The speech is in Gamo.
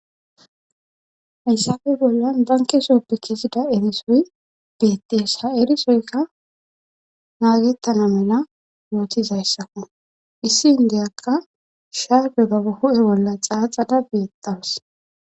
hayssafe bollan banke sooppekisipa erisoy beettees ha erisoyka naagettana mena wootizayssakku issi indiyakka shaabe baba hu7e bolla xaaxada beetaws